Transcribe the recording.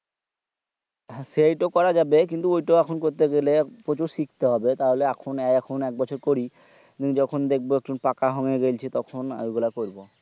হ্যাঁ সেইটো করা যাবে কিন্তু ঐতো এখন করতে গেলে প্রচুর শিখতে হবে তাহলে এখন আর এক বছর করি যখন দেখবো একটু পাকা হুঙ্গে গেলছি তখন ওই গীলা করবো